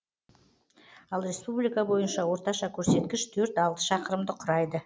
ал республика бойынша орташа көрсеткіш төрт алты шақырымды құрайды